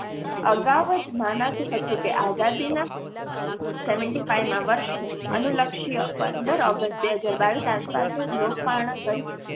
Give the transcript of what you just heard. અગાઉ જ માનાતું હતું કે આઝાદી ના seventy five માં વર્ષને અનુલક્ષીય પંદર ઓગસ્ટ બે હજાર બાવીસ આસપાસ જ લોકપર્ણ કરી છે.